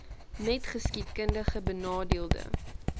net geskiedkundig benadeelde